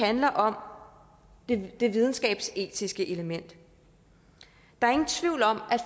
handler om det videnskabsetiske element der er ingen tvivl om